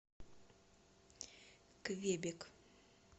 квебек